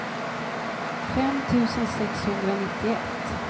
fem tusen sexhundranittioett